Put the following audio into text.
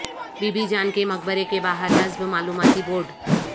be be Jan کے مقبرے کے باہر نصب معلوماتی بورڈ